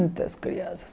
Muitas crianças.